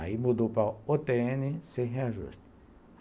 Aí mudou para a o tê ene sem reajuste.